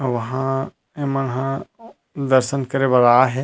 वहाँ ए मन हा दर्सन करे बर आहे।